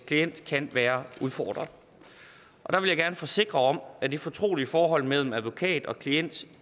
klient kan være udfordret der vil jeg gerne forsikre om at det fortrolige forhold mellem advokat og klient